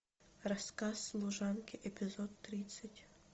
рассказ служанки эпизод тридцать